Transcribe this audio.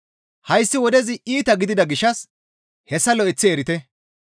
Hayssi wodezi iita gidida gishshas hessa lo7eththi erite.